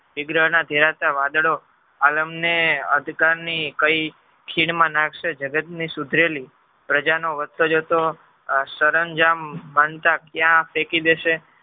ધેરાતાં વાદળો આજ અમને અંધકાર ની કઈ ખીણ માં નાખશે જગત ને સુધરેલી પ્રજાનો વધતો જતો આ સરનજજામ ક્યાં ફેકી દેશે.